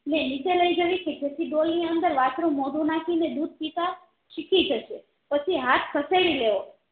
નીચે લાયજવી જેથી ડોલ ની અંદર વાસ્ત્રુ મોઢું નાખીને દુધ પિતા શીખી જાય છે પછી હાથ ખસેડી લેવો